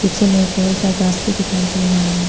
पीछे में एक का घास भी दिखाई दे रहा है।